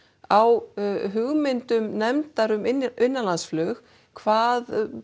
á hugmyndum nefndar um innanlandsflug hvað